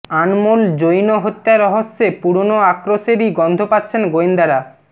আনমোল জৈন হত্যা রহস্যে পুরনো আক্রোশেরই গন্ধ পাচ্ছেন গোয়েন্দারা